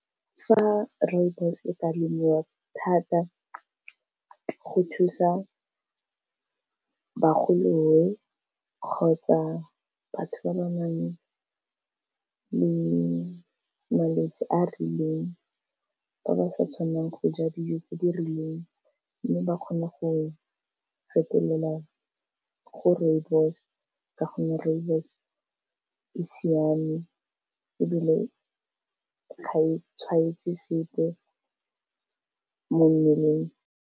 Fa Rooibos e ka lemiwa thata go thusa bagolo kgotsa batho ba ba nang le malwetsi a rileng, ba ba sa tshwanang go ja dijo tse di rileng, mme ba kgone go fetelela go Rooibos ka gonne Rooibos e siame ebile ga e tshwanetse sepe mo mmeleng.